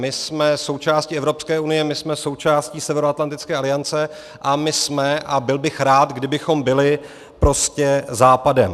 My jsme součástí Evropské unie, my jsme součástí Severoatlantické aliance a my jsme, a byl bych rád, kdybychom byli, prostě Západem.